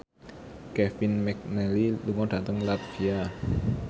Kevin McNally lunga dhateng latvia